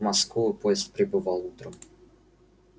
в москву поезд прибывал утром